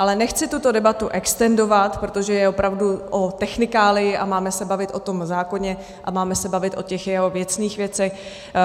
Ale nechci tuto debatu extendovat, protože je opravdu o technikálii a máme se bavit o tom zákoně a máme se bavit o těch jeho věcných věcech.